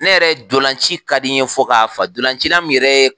Ne yɛrɛ dolanci ka di n ye fɔ k'a faa, dolancila min yɛrɛ ye